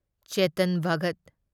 Chetan Bhagat